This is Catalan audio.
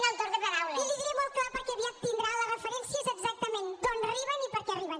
i li ho diré molt clar perquè aviat tindrà les referències exactament d’on arriben i per què arriben